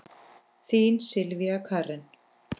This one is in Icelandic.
Þín Sylvía Karen.